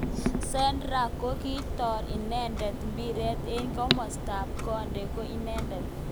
Xherdan kokityar inendet mpiret eng kimosta ak konde ko inendet.